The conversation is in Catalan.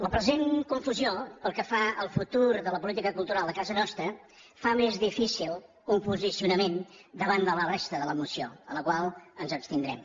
la present confusió pel que fa al futur de la política cultural a casa nostra fa més difícil un posicionament davant de la resta de la moció en la qual ens abstindrem